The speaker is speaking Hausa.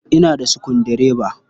Ina da sukuldireba.